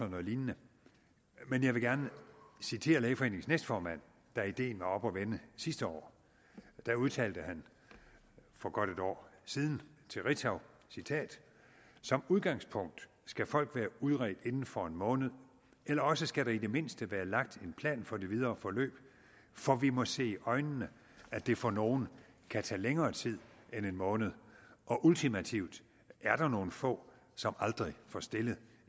noget lignende men jeg vil gerne citere lægeforeningens næstformand da ideen var oppe at vende sidste år der udtalte han for godt et år siden til ritzau som udgangspunkt skal folk være udredt indenfor en måned eller også skal der i det mindste være lagt en plan for det videre forløb for vi må se i øjnene at det for nogen kan tage længere tid end en måned og ultimativt er der nogen få som aldrig får stillet